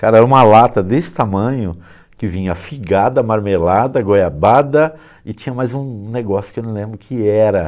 Cara, era uma lata desse tamanho que vinha figada, marmelada, goiabada e tinha mais um negócio que eu não lembro o que era.